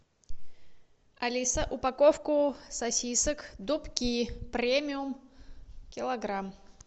алиса упаковку сосисок дубки премиум килограмм